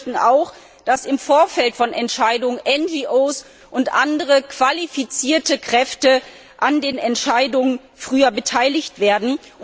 Wir möchten auch, dass im Vorfeld von Entscheidungen NGOs und andere qualifizierte Kräfte früher an den Entscheidungen beteiligt werden.